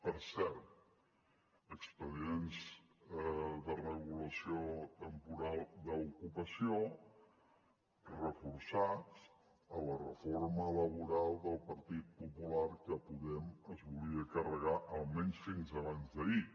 per cert expedients de regulació temporal d’ocupació reforçats a la reforma laboral del partit popular que podem es volia carregar almenys fins abans d’ahir